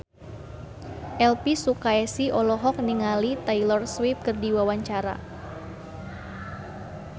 Elvi Sukaesih olohok ningali Taylor Swift keur diwawancara